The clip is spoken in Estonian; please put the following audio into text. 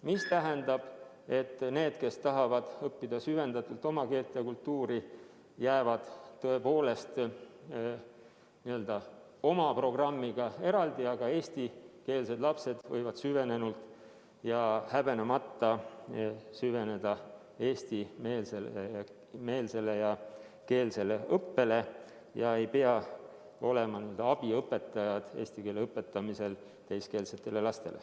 See tähendab, et need, kes tahavad õppida süvendatult oma keelt ja kultuuri, jäävad tõepoolest n-ö oma programmiga eraldi, aga eestikeelsed lapsed võivad süvenenult ja häbenemata süveneda eestimeelsesse ja -keelsesse õppesse ega pea olema n-ö abiõpetajad eesti keele õpetamisel teiskeelsetele lastele.